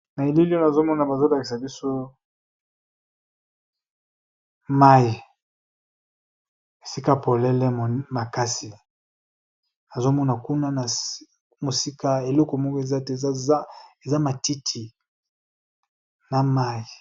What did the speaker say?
Na elili oyo, na zomona bazo ĺakisa biso mai. Esika polele makasi. Nazo mona kuna na mosika, eleko moko eza te, eza matiti na mai.